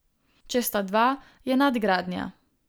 Če sta dva, je nadgradnja.